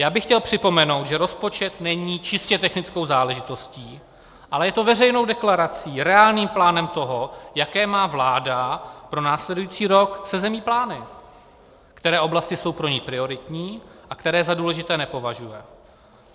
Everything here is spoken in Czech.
Já bych chtěl připomenout, že rozpočet není čistě technickou záležitostí, ale je to veřejnou deklarací, reálným plánem toho, jaké má vláda pro následující rok se zemí plány, které oblasti jsou pro ni prioritní a které za důležité nepovažuje.